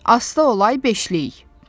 Asta olay beşlik.